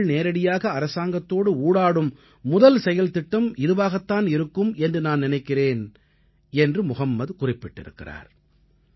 மக்கள் நேரடியாக அரசாங்கத்தோடு ஊடாடும் முதல் செயல்திட்டம் இதுவாகத் தான் இருக்கும் என்று நான் நினைக்கிறேன் என்று முஹம்மத் குறிப்பிட்டிருக்கிறார்